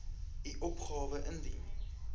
u opgawe indien